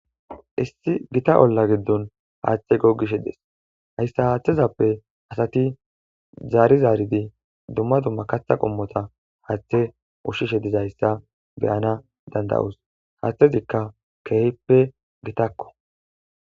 issi gita olla giddon haaththe gogishe des hayssa haaththezappe asati zaari zaaridi dumma dumma katha qommota haaththe ushshishe dizayssa beyana danda7os haaththezikka keehppe gitakko.